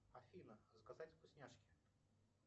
афина заказать вкусняшки